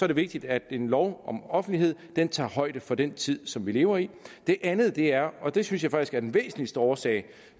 det vigtigt at en lov om offentlighed tager højde for den tid som vi lever i det andet er og det synes jeg faktisk er den væsentligste årsag